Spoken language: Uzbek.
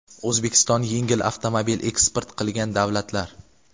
O‘zbekiston yengil avtomobil eksport qilgan davlatlar:.